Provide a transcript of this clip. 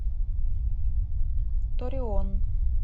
торреон